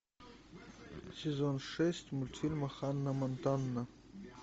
сезон шесть мультфильма ханна монтана